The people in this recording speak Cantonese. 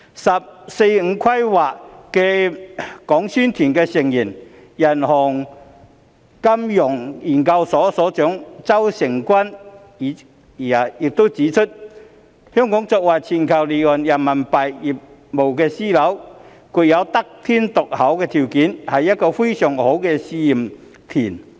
"十四五"規劃的宣講團成員、中國人民銀行金融研究所所長周誠君亦指出，香港作為全球離岸人民幣業務樞紐，具有得天獨厚的條件，是一個非常好的試驗田。